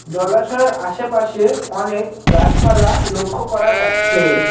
জলাশয়ের আশেপাশে অনেক গাছপালা লক্ষ্য করা যাচ্ছে।